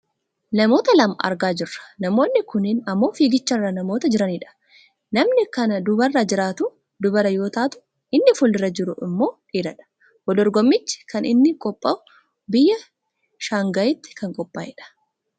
Namoota lama argaa jirra. Namoonni kunneen ammoo fiigicharra namoota jiranidha. Namni kan duubarra jirtu dubara yoo taatu inni fuuldura jiru ammoo dhiiradha. Wal dorgommichi kan inni qophaahu biyya shaangaayitti kan qophaa'edha.